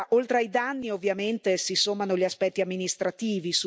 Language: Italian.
Oltre ai danni, ovviamente, si sommano gli aspetti amministrativi.